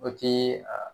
O ti a